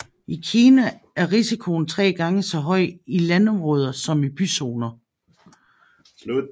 I Kina er risikoen tre gange så høj i landområder som i byzoner